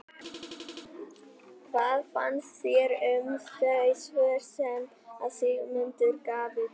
Hvað fannst þér um þau svör sem að Sigmundur gaf í dag?